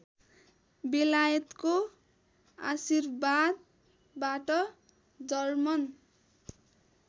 बेलायतको आशीर्वादबाट जर्मन